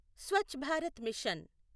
Swachh Bharat machine